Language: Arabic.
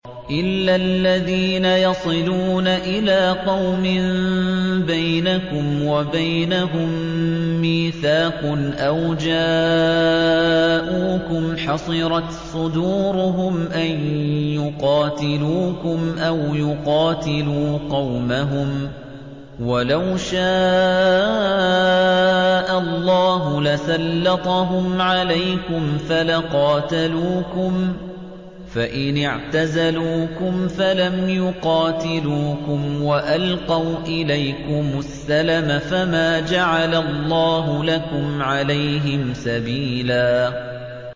إِلَّا الَّذِينَ يَصِلُونَ إِلَىٰ قَوْمٍ بَيْنَكُمْ وَبَيْنَهُم مِّيثَاقٌ أَوْ جَاءُوكُمْ حَصِرَتْ صُدُورُهُمْ أَن يُقَاتِلُوكُمْ أَوْ يُقَاتِلُوا قَوْمَهُمْ ۚ وَلَوْ شَاءَ اللَّهُ لَسَلَّطَهُمْ عَلَيْكُمْ فَلَقَاتَلُوكُمْ ۚ فَإِنِ اعْتَزَلُوكُمْ فَلَمْ يُقَاتِلُوكُمْ وَأَلْقَوْا إِلَيْكُمُ السَّلَمَ فَمَا جَعَلَ اللَّهُ لَكُمْ عَلَيْهِمْ سَبِيلًا